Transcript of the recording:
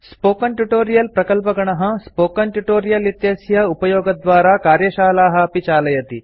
spoken tutorial प्रकल्पगणः project team spoken tutorial इत्यस्य उपयोगद्वारा कार्यशालाः अपि चालयति